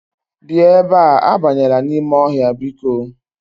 Bia ebe a, abanyela n'ime ohia biko.